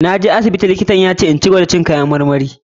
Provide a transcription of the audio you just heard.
Na je asibiti kuma likitan ya ce na cigaba da kara cin kayan marmari.